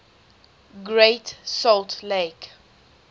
great salt lake